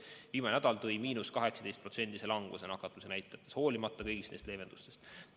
Aga viimane nädal tõi miinus 18% languse nakatumisnäitajates hoolimata kõigist neist leevendustest.